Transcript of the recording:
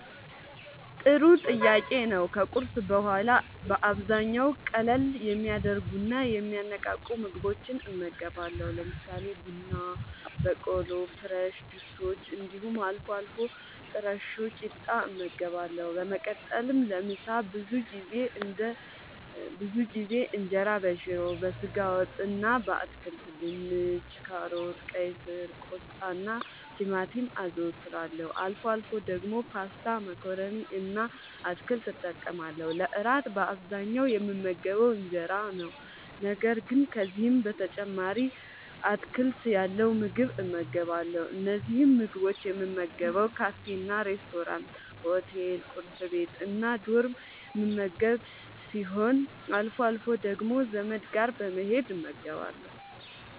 ጥሩ ጥያቄ ነዉ ከቁርስ በኋላ በአብዛኛዉ ቀለል የሚያደርጉና የሚያነቃቁ ምግቦችን እመገባለሁ። ለምሳሌ፦ ቡና በቆሎ፣ ፍረሽ ጁሶች እንዲሁም አልፎ አልፎ ጥረሾ ቂጣ እመገባለሁ። በመቀጠልም ለምሳ ብዙ ጊዜ እንጀራበሽሮ፣ በስጋ ወጥ እና በአትክልት( ድንች፣ ካሮት፣ ቀይስር፣ ቆስጣናቲማቲም) አዘወትራለሁ። አልፎ አልፎ ደግሞ ፓስታ መኮረኒ እና አትክልት እጠቀማለሁ። ለእራት በአብዛኛዉ የምመገበዉ እንጀራ ነዉ። ነገር ግን ከዚህም በተጨማሪ አትክልት ያለዉ ምግብ እመገባለሁ። እነዚህን ምግቦች የምመገበዉ ካፌናሬስቶራንት፣ ሆቴል፣ ቁርስ ቤት፣ እና ዶርም የምመገብ ሲሆን አልፎ አልፎ ደግሞ ዘመድ ጋር በመሄድ እመገባለሁ።